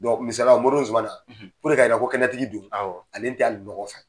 misaliya la moriden ZUMANA ko kɛnɛtigi don ale t'ali nɔgɔ fɛ.